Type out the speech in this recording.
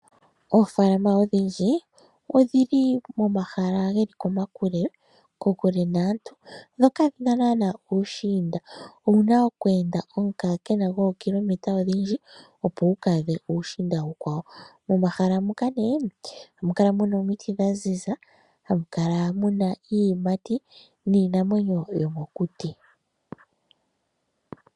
Oofaalama odhindji, odhi li momahala ge li komakule, kokule naantu, dho kadhi na naanaa uushiinda. Owu na okweenda omukaakena gwookilometa odhindji, opo wu ka adhe uushiinda uukwawo. Momahala moka ohamu kala mu na omiti dha ziza, hamu kala mu na iiyimati niinamwenyo yomokuti.